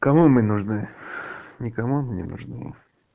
кому мы нужны никому мы не нужны